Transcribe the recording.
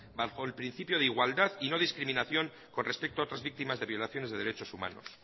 bajo el principio de igualdad y no discriminación con respecto a otras víctimas de violaciones de derechos humanos